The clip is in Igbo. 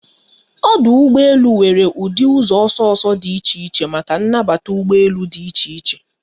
Ọdụ ụgbọ elu nwere ụdị ụzọ ọsọ ọsọ dị iche iche maka nnbata ụgbọ elu dị iche iche